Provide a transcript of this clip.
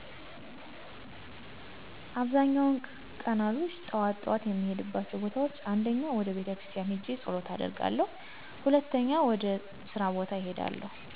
አብዛኛዉን ቀናቶች ጠዋት ጠዋት የምሄድባቸው ቦታወች። 1. ወደ ቤተክርስቲያን ሄጀ ፀሎት አደርጋለሁ። 2. ወደ ስራ ቦታ እሄዳለሁ።